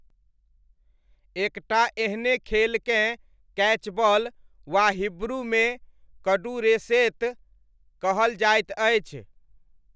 एक टा एहने खेलकेँ कैचबॉल, वा हिब्रूमे, कडुरेशेत कहल जाइत अछि।